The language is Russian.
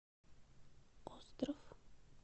остров